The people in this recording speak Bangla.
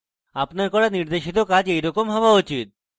আপনার করা নির্দেশিত কাজ এইরকম হওয়া উচিত